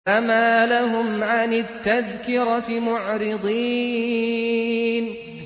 فَمَا لَهُمْ عَنِ التَّذْكِرَةِ مُعْرِضِينَ